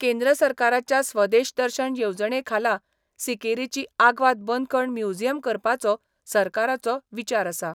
केंद्र सरकाराच्या स्वदेश दर्शन येवजणे खाला सिकेरीची आग्वाद बंदखण म्युझियम करपाचो सरकाराचो विचार आसा.